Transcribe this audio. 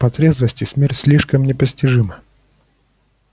по трезвости смерть слишком непостижима